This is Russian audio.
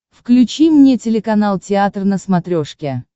включи мне телеканал театр на смотрешке